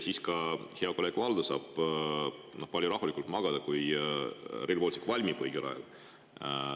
Ka hea kolleeg Valdo saab siis palju rahulikumalt magada, kui Rail Baltic valmib õigel ajal.